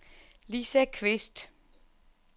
Lisa Qvist